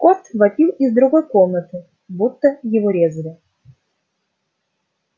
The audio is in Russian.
кот вопил из другой комнаты будто его резали